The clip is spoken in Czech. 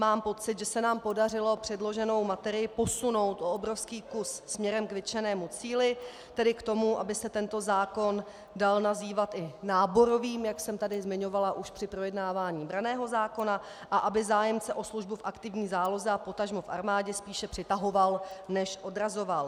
Mám pocit, že se nám podařilo předloženou materii posunout o obrovský kus směrem k vytčenému cíli, tedy k tomu, aby se tento zákon dal nazývat i náborovým, jak jsem tady zmiňovala už při projednávání branného zákona, a aby zájemce o službu v aktivní záloze a potažmo v armádě spíše přitahoval než odrazoval.